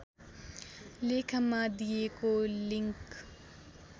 लेखमा दिएको लिङ्क